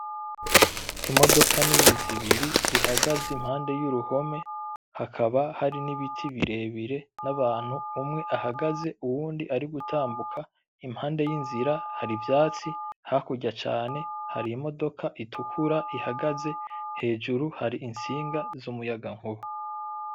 Imodoka nini zibiri zihagaze impande yuruhome, hakaba hari n'ibiti birere n'abantu, umwe ahagaze uwundi ari gutambuka impande y'inzira hari ivyatsi hakurya cane hari imodoka itukura ihagaze, hejuru hari intsinga z'umuyaga nkuba.